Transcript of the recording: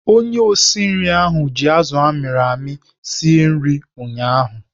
Onye osi nri ahụ ji azụ amịrị amị sie bụkwa ụnyaahụ.